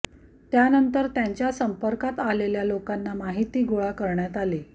त्यानंतर त्यांच्या संपर्कात आलेल्या लोकांना माहिती गोळा करण्यात आली